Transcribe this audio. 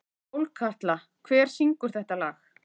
Sólkatla, hver syngur þetta lag?